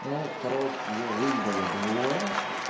ну короче её выебали двое